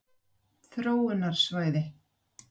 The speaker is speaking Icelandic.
Ég held að það sé mögulegt, þess vegna kom ég.